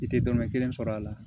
I tɛ dɔnnin kelen sɔrɔ a la